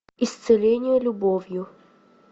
исцеление любовью